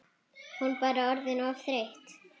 Hún bara orðin of þreytt.